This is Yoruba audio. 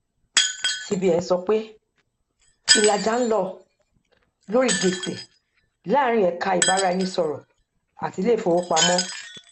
bí ipò ìṣòwò ṣe ń yí padà àjọ ìfẹyìntì máa ṣàyẹwò dúkìá mìíràn